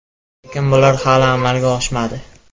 Lekin bular hali amalga oshmadi.